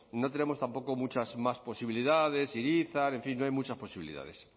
no tenemos tampoco muchas más posibilidades irizar en fin no hay muchas posibilidades